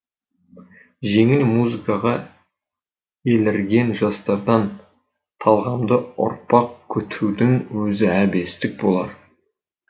жеңіл музыкаға елірген жастардан талғамды ұрпақ күтудің өзі әбестік болар